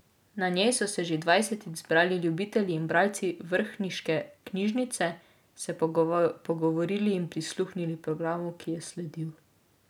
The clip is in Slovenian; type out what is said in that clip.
Na njej so se že dvajsetič zbrali ljubitelji in bralci vrhniške knjižnice, se pogovorili in prisluhnili programu, ki je sledil.